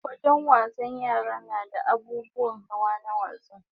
Wajen wasan yara nada abubuwan hawa na wasa